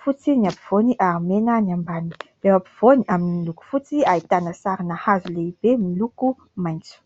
fotsy ny ampovoany ary mena ny ambany, ireo ampovoany amin'ny loko fotsy ahitana sarina hazo lehibe miloko maitso.